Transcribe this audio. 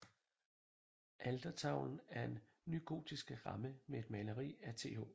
Altertavlen er en nygotisk ramme med et maleri af Th